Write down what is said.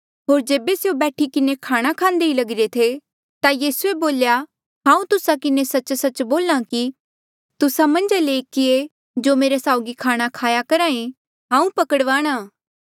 होर जेबे स्यों बैठी किन्हें खाणा खांदे ही लगिरे थे ता यीसूए बोल्या हांऊँ तुस्सा किन्हें सच्च सच्च बोल्हा कि तुस्सा मन्झा ले ऐकीया जो मेरे साउगी खाणा खाया करहा हांऊँ पकड़वाणा